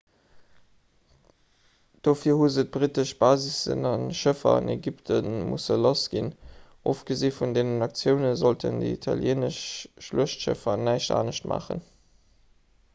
dofir hu se d'brittesch basissen a schëffer an ägypte musse lass ginn ofgesi vun deenen aktioune sollten déi italieenesch schluechtschëffer näischt anescht maachen